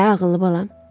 Hə, ağıllı balam.